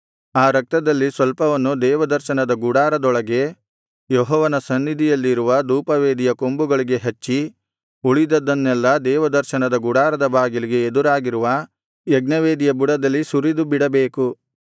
ಆ ರಕ್ತದಲ್ಲಿ ಸ್ವಲ್ಪವನ್ನು ದೇವದರ್ಶನದ ಗುಡಾರದೊಳಗೆ ಯೆಹೋವನ ಸನ್ನಿಧಿಯಲ್ಲಿರುವ ಧೂಪವೇದಿಯ ಕೊಂಬುಗಳಿಗೆ ಹಚ್ಚಿ ಉಳಿದದ್ದನ್ನೆಲ್ಲಾ ದೇವದರ್ಶನದ ಗುಡಾರದ ಬಾಗಿಲಿಗೆ ಎದುರಾಗಿರುವ ಯಜ್ಞವೇದಿಯ ಬುಡದಲ್ಲಿ ಸುರಿದುಬಿಡಬೇಕು